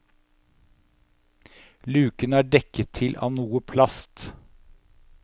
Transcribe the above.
Luken er dekket til av noe plast.